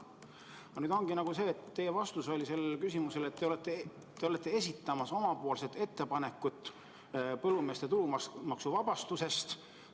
Aga nüüd oligi teie vastus küsimusele, et te olete esitamas oma ettepanekut põllumeeste tulumaksuvabastuse kohta.